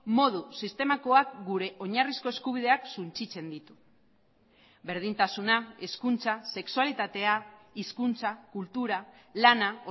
modu sistemakoak gure oinarrizko eskubideak suntsitzen ditu berdintasuna hezkuntza sexualitatea hizkuntza kultura lana